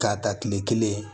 K'a ta tile kelen